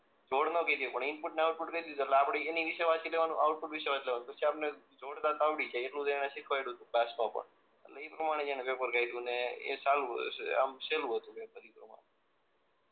જોડ ન કહી દે પણ ઈનપુટ અને આઉટ્પુટ કહી દીધું એટલે આપણે એના વિશે વાંચી લેવાનું આઉટપુટ વિશે હોય એ પછી આપણ ને જોડતા તો આવડી જાય એટલું તો એણે શીખવાડ્યું તું ક્લાસ માં પણ એટલે એ પ્રમાણે એને પેપર કાઢ્યું ને એ સારું આમ સેહલુ હતું